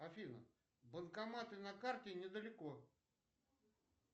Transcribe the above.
афина банкоматы на карте недалеко